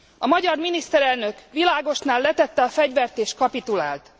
A magyar miniszterelnök Világosnál letette a fegyvert és kapitulált.